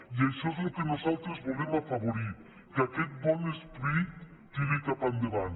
i això és el que nosaltres volem afavorir que aquest bon esperit tiri cap endavant